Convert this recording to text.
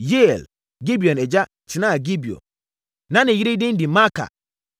Yeiel (Gibeon agya) tenaa Gibeon. Na ne yere din de Maaka